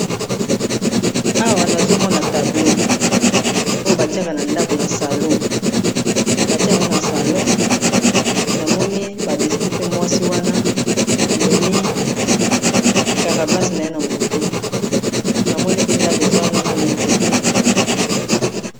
Awa nazomona tablo oyo batiaka na ndako na salo batiakango na salo namoni badeside pe mwasi wana amemi, karabase na ye na motu namoni pe ndako eza wana na na nzete.